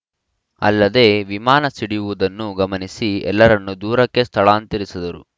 ಅಲ್ಲದೆ ವಿಮಾನ ಸಿಡಿಯುವುದನ್ನು ಗಮನಿಸಿ ಎಲ್ಲರನ್ನೂ ದೂರಕ್ಕೆ ಸ್ಥಳಾಂತರಿಸಿದರು